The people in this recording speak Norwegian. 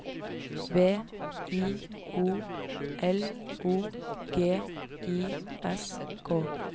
B I O L O G I S K